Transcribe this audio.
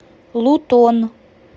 лутон